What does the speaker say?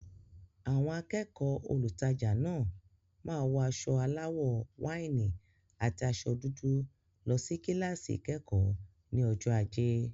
Àwọn akẹ́kọ̀ọ́ olùtajà náà máa wọ aṣọ aláwọ̀ wáìnì àti aṣọ dúdú lọ sí kíláàsì ìkẹ́kọ̀ọ́ ní ọjọ́ ajé.